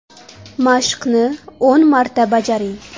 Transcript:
Mashqni o‘n marta bajaring.